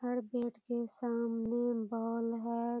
हर bat के सामने ball है।